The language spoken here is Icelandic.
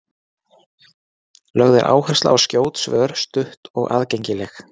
Lögð er áhersla á skjót svör, stutt og aðgengileg.